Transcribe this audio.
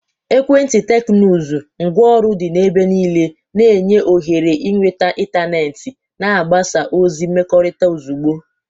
Ekwenti teknụzụ, ngwaọrụ dị n'ebe niile, na-enye ohere ịnweta ịntanetị na mgbasa ozi mmekọrịta ozugbo.